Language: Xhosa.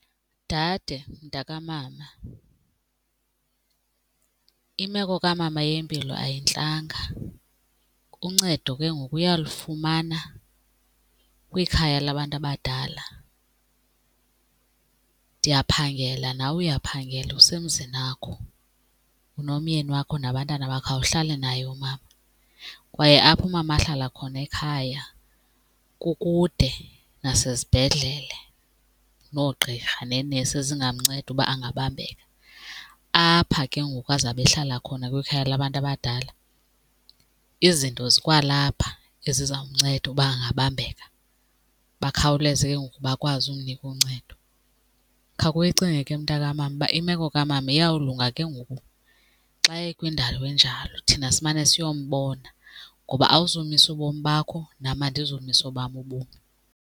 Dade mntakamama, imeko kamama yempilo ayintlanga uncedo ke ngoku uyalufumana kwikhaya labantu abadala. Ndiyaphangela nawe uyaphangela usemzinakho, unomyeni wakho nabantwana bakho awuhlali naye umama, kwaye apho umama ahlala khona ekhaya kukude nasezibhedlele noogqirha neenesi ezingamnceda uba angabambeka. Apha ke ngoku azabe ehlala khona kwikhaya labantu abadala, izinto zikwalapha ezizomnceda uba angabambeka bakhawuleze ke ngoku bakwazi umnika uncedo. Khawuke uyicinge ke mntakamama uba imeko kamama iyawulunga ke ngoku xa ekwindawo enjalo thina simane siyombona ngoba awuzumisa ubomi bakho nam andizumisa obam ubomi.